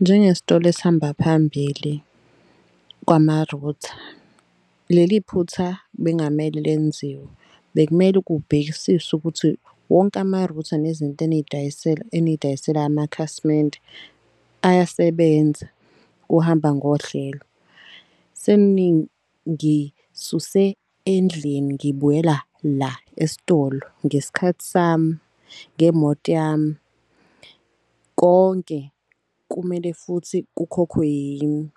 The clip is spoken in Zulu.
Njenge sitolo esihamba phambili kwama-router, leli phutha bengamele lenziwe. Bekumele kubhekisiswe ukuthi wonke ama-router nezinto eniy'dayisela amakhasimende ayasebenza kuhamba ngohlelo. Seningisuse endlini ngibuyela la esitolo ngesikhathi sami ngemoti yami, konke kumele futhi kukhokhwe yini.